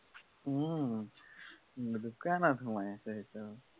ওম দোকানত সোমাই আছে একদম।